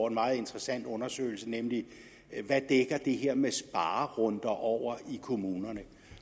en meget interessant undersøgelse nemlig hvad det her med sparerunder dækker over i kommunerne